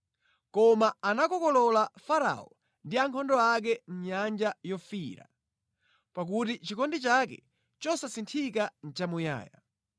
Koma anakokolola Farao ndi ankhondo ake mʼNyanja Yofiira, pakuti chikondi chake chosasinthika nʼchamuyaya.